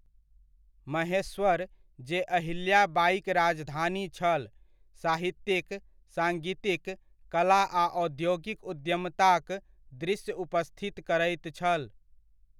महेश्वर जे अहिल्या बाइक राजधानी छल, साहित्यिक, साङ्गितिक, कला आ औद्योगिक उद्यमताक दृश्य उपस्थित करैत छल।